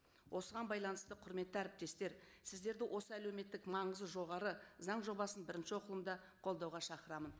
осыған байланысты құрметті әріптестер сіздерді осы әлеуметтік маңызы жоғары заң жобасын бірінші оқылымда қолдауға шақырамын